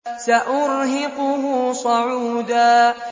سَأُرْهِقُهُ صَعُودًا